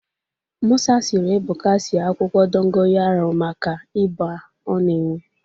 Mụsa siri Ebụka sie akwụkwọ dokoyaro maka ịba ọ nara enwe